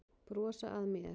Brosa að mér!